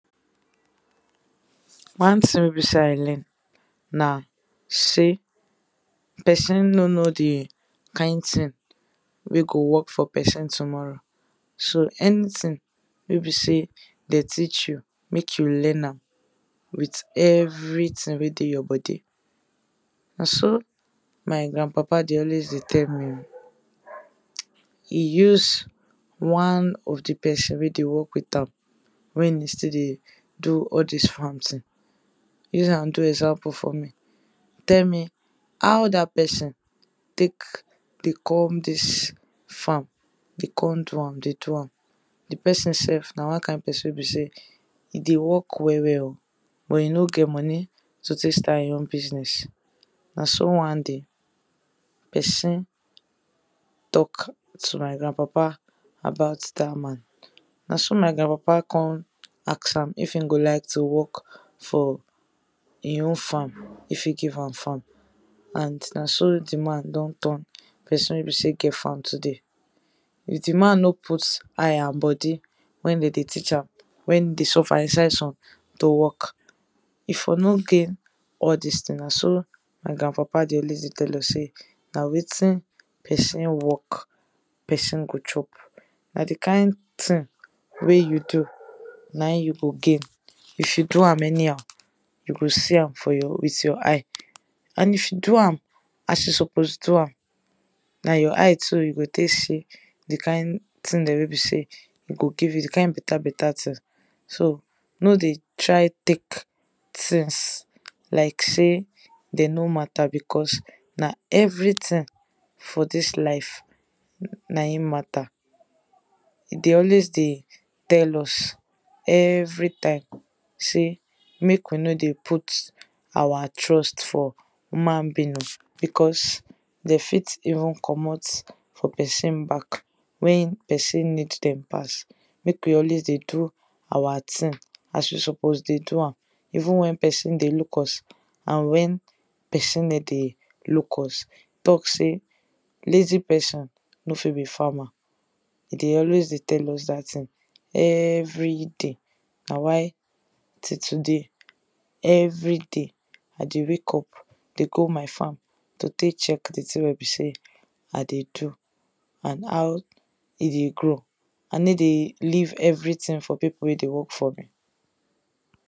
One thing wey I learn na sey person no know di kind thing wey go work for person tomorrow so anything wey be sey dem teach you, make you learn am with everything wey dey your body. Na so my grand papa dey always dey tell me oh, e use one of di person wey dey work with am, wen e take dey do all dis farm thing, e use am do example for me, tell me how dat person take dey come dis farm dey come do am dey do am, di person sef na one kind person wey be sey e dey work well well oh, but e no get money to take start e own business, na so one day person talk to my grand papa about dat man, na so my grand papa come ask am if e go like to work for in own farm if e give am farm, and na so di man don turn person wey don get in own farm today. If di man no put eye and body when dem dey teach am wen e dey suffer inside sun dey work e for no gain all dis thing na so my grand papa dey always dey tell us sey na wetin person work, person go chop, an di kind thing wey you na im you go gain if you do am anyhow you go see am for your, with your eye and if you do am as you suppose do am, na your eye too you go take see di kind thing dem wey be sey e go give you, di kind better better things so no dey try take things like sey dem no matter because na everything for dis life na im matter, e dey always dey tell us every time sey make we no dey put our trust for human being, because dem fit even komot for person back, wen person need dem pass, make we always dey do our th i ng as we suppose dey do am, even when person dey look us, and when person no dey look us, talk sey lazy person no fit be farmer, e dey always dey tell us dat thing every day na why till today, every day I dey wake up go my farm to take check di thing dem wey be sey I dey do and how e dey grow, I no dey leave everything for di people wey dey work for me.